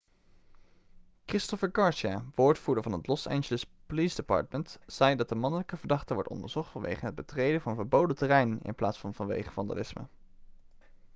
christopher garcia woordvoerder van het los angeles police department zei dat de mannelijke verdachte wordt onderzocht vanwege het betreden van verboden terrein in plaats van vanwege vandalisme